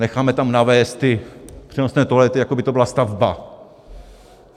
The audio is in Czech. Necháme tam navézt ty přenosné toalety, jako by to byla stavba?